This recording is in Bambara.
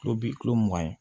Kulo bi kilo mugan ye